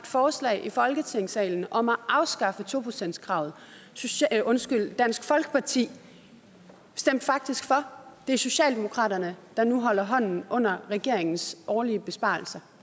forslag i folketingssalen om at afskaffe to procentskravet og dansk folkeparti stemte faktisk for det er socialdemokratiet der nu holder hånden under regeringens årlige besparelser